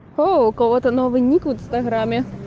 о у кого-то новый ник в инстаграме